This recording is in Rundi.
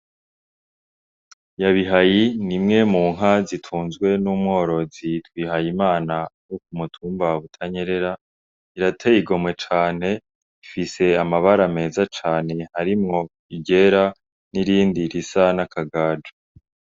Nyabihayi ni imwe mu nka zitunzwe n' umworozi Bihayimana wo ku mutumba wa butanyerera irateye igomwe cane ifise amabara meza cane harimwo iryera n' irindi risa n' akagajo.